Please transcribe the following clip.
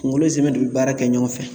Kungolo nsɛmɛ de be baara kɛ ɲɔgɔn fɛ